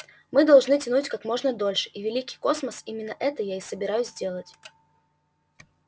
мы должны тянуть как можно дольше и великий космос именно это я и собираюсь делать